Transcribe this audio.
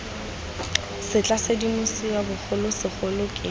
se tla sedimosiwa bogolosegolo ke